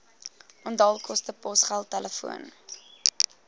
onthaalkoste posgeld telefoon